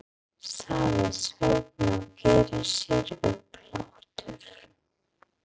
sagði Sveinn og gerði sér upp hlátur.